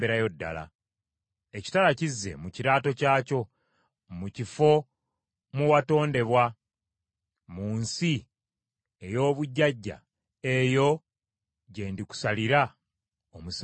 “ ‘Ekitala kizze mu kiraato kyakyo. Mu kifo mwe watondebwa, mu nsi ey’obujjajja, eyo gye ndikusalirira omusango.